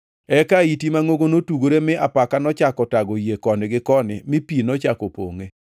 Eka ahiti mangʼongo notugore mi apaka nochako tago yie koni gi koni mi pi nochako pongʼe.